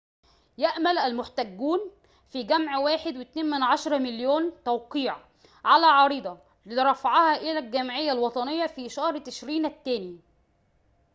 يأمل المحتجون في جمع 1.2 مليون توقيع على عريضة لرفعها إلى الجمعية الوطنية في شهر تشرين الثاني